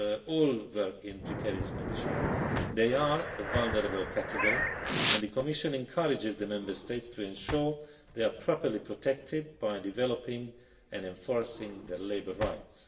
not all work in precarious conditions, they are a vulnerable category and the Commission encourages the Member States to ensure they are properly protected by developing and enforcing their labour rights.